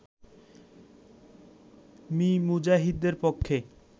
me মুজাহিদের পক্ষে